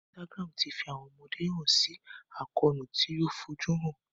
Instagram tí fi àwọn ọmọdé hàn si àkóónú tí o fojuhan.